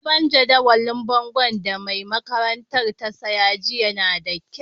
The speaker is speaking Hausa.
Sabon jadawalin bongon da mai makarantan ta siya jiya na da kyau.